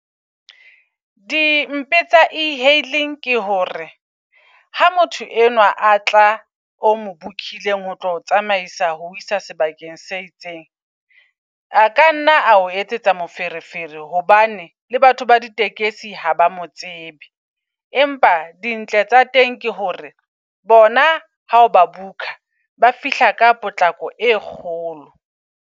Di mpe tsa e-hailing ke hore ha motho enwa a tla o mo book-ileng ho tlo tsamaisa ho isa sebakeng se itseng. A a kanna ao e etsetsa moferefere hobane le batho ba ditekesi ha ba mo tsebe. Empa dintle tsa teng ke hore bona ha ba book-a ba fihla ka potlako e kgolo.